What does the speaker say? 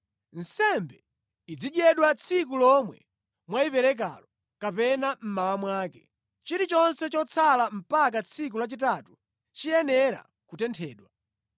Nsembe izidyedwa tsiku lomwe mwayiperekalo kapena mmawa mwake. Chilichonse chotsala mpaka tsiku lachitatu chiyenera kutenthedwa.